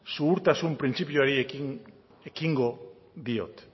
xuhurtasun printzipioari ekingo diot